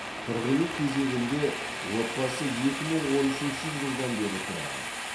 тұрғын үй кезегінде отбасы екі мың он үшінші жылдан бері тұрған